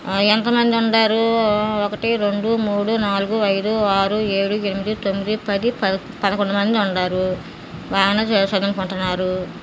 ఆ ఎంత మంది ఉండరు. ఆ ఒకటి రెండు మూడు నాలుగు ఐదు ఆరు ఏడు ఎనిమిది తొమ్మిది పది పదకొండు మంది ఉన్నారు. బానే చదువుకుంటున్నారు.